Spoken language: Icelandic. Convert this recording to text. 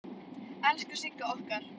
Elsku Sigga okkar.